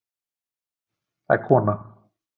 Það er kona.